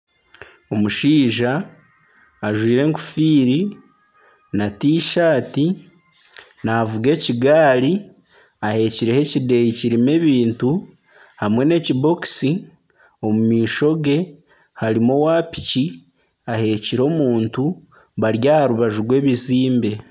Omushaija ajwaire enkofiira na t-saati navuga ekigaari ahekireho ekideeya kirimu ebintu hamwe nana ekibokusi ,omu maisho gye harimu owa piki aheekire omuntu bari aha rubaju rw'ebizimbe.